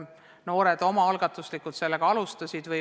Noored alustasid seda omaalgatuslikult.